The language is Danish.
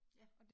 Ja